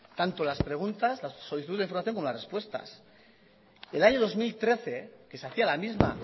tanto las preguntas las solicitudes de información como las respuestas el año dos mil trece que se hacía la misma